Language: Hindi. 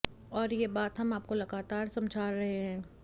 और ये बात हम आपको लगातार समझा रहे हैं